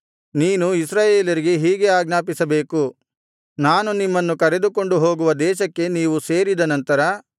ನೀನು ಇಸ್ರಾಯೇಲರಿಗೆ ಹೀಗೆ ಆಜ್ಞಾಪಿಸಬೇಕು ನಾನು ನಿಮ್ಮನ್ನು ಕರೆದುಕೊಂಡುಹೋಗುವ ದೇಶಕ್ಕೆ ನೀವು ಸೇರಿದ ನಂತರ